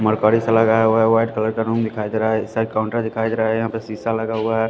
Mercury सा लगाया हुआ है व्हाइट कलर का रूम दिखाई दे रहा है एक साइड काउंटर दिखाई दे रहा है यहाँ पे शीशा लगा हुआ है।